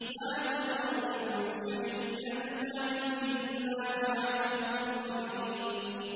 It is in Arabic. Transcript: مَا تَذَرُ مِن شَيْءٍ أَتَتْ عَلَيْهِ إِلَّا جَعَلَتْهُ كَالرَّمِيمِ